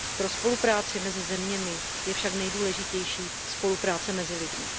Pro spolupráci mezi zeměmi je však nejdůležitější spolupráce mezi lidmi.